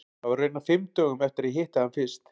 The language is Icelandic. Það var raunar fimm dögum eftir að ég hitti hann fyrst.